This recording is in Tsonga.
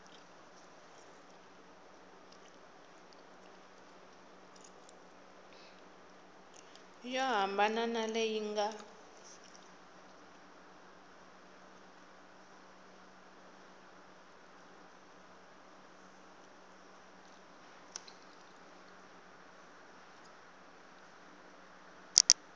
yo hambana na leyi nga